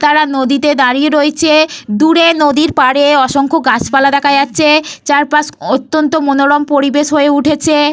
কারা নদীতে দাঁড়িয়ে রয়েছে। দূরে নদীর পাড়ে অসংখ্য গাছপালা দেখা যাচ্ছে । চারপাশ অত্যন্ত মনোরম পরিবেশ হয়ে উঠেছে।